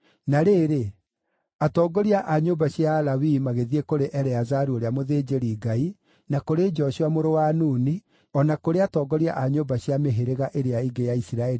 Na rĩrĩ, atongoria a nyũmba cia Alawii magĩthiĩ kũrĩ Eleazaru ũrĩa mũthĩnjĩri-Ngai, na kũrĩ Joshua mũrũ wa Nuni, o na kũrĩ atongoria a nyũmba cia mĩhĩrĩga ĩrĩa ĩngĩ ya Isiraeli